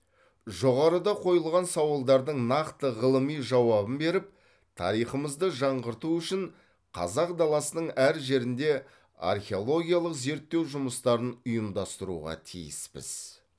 жоғарыда қойылған сауалдардың нақты ғылыми жауабын беріп тарихымызды жаңғырту үшін қазақ даласының әр жерінде археологиялық зерттеу жұмыстарын ұйымдастыруға тиіспіз